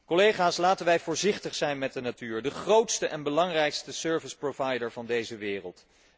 Collega's, laten wij voorzichtig zijn met de natuur, de grootste en belangrijkste service provider van deze wereld.